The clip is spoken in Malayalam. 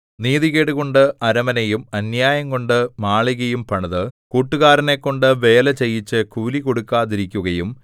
നീതികേടുകൊണ്ട് അരമനയും അന്യായം കൊണ്ട് മാളികയും പണിത് കൂട്ടുകാരനെക്കൊണ്ടു വേല ചെയ്യിച്ച് കൂലി കൊടുക്കാതിരിക്കുകയും